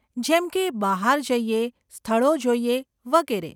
જેમકે, બહાર જઈએ, સ્થળો જોઈએ, વગેરે.